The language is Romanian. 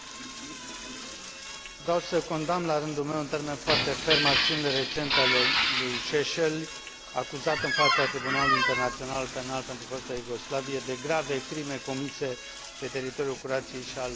Vreau să condamn, la rândul meu, în termeni foarte fermi acțiunile recente ale lui Šešelj, acuzat în fața Tribunalului Internațional Penal pentru fosta Iugoslavie de grave crime comise pe teritoriul Croației și al Bosniei și Herțegovinei.